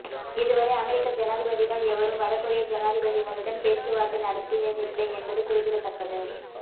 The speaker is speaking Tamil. இதுவரை அமெரிக்க ஜனாதிபதிகள் எவரும் வட கொரிய ஜனாதிபதிகளுடன் பேச்சுவார்த்தை நடத்தியதில்லை என்பது குறிப்பிடத்தக்கது